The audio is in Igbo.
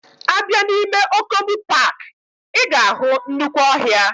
Abia na ime Okomu park, iga ahu nnukwu ohia.